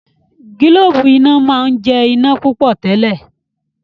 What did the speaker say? gilobu iná món jẹ iná púpọ tèlé.